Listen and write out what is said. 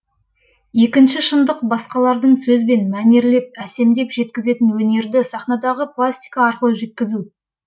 екінші шындық басқалардың сөзбен мәнерлеп әсемдеп жеткізетін өнерді сахнадағы пластика арқылы жеткізу